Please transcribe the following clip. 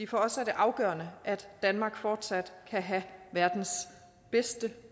for os er det afgørende at danmark fortsat kan have verdens bedste